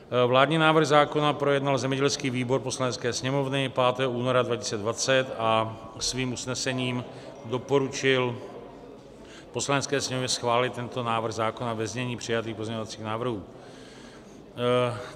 Vládní návrh zákona projednal zemědělský výbor Poslanecké sněmovny 5. února 2020 a svým usnesením doporučil Poslanecké sněmovně schválit tento návrh zákona ve znění přijatých pozměňovacích návrhů.